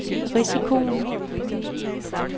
risikoen